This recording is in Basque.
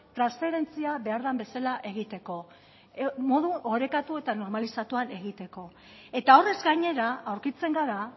transferentzia behar den bezala egiteko modu orekatu eta normalizatuan egiteko eta horrez gainera aurkitzen gara